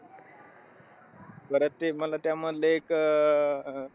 परत ते मला त्या मधले एक अं